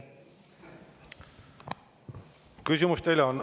Küsimusi teile on.